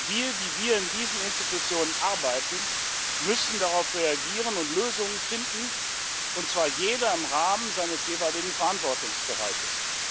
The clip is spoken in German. Wir, die wir in diesen Institutionen arbeiten, müssen darauf reagieren und Lösungen finden, und zwar jeder im Rahmen seines jeweiligen Verantwortungsbereiches.